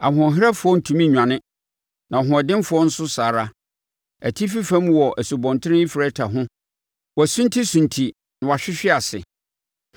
Ɔhoɔherɛfoɔ ntumi nnwane, na ɔhoɔdenfoɔ nso saa ara. Atifi fam wɔ Asubɔnten Eufrate ho wɔsuntisunti na wɔhwehwe ase.